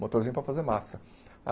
Motorzinho para fazer massa.